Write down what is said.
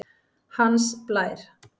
Hans Blær